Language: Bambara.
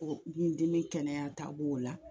O kɛnɛyata b' o la